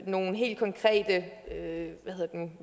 nogle helt konkrete